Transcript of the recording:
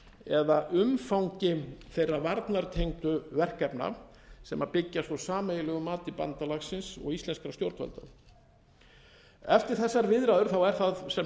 eða umfangi þeirra varnartengdu verkefna sem byggjast á sameiginlegu mati bandalagsins og íslenskra stjórnvalda eftir þessar viðræður er það sem sagt